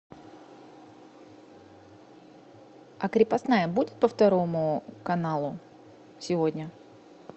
а крепостная будет по второму каналу сегодня